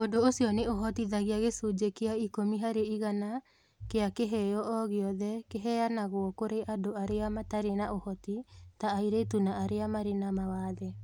Ũndũ ũcio nĩ ũhotithagia gĩcunjĩ kĩa ikũmi harĩ igana kĩa kĩheo o gĩothe kĩheanagwo kũrĩ andũ arĩa matarĩ na ũhoti (ta airĩtu na arĩa marĩ na mawathe).